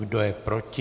Kdo je proti?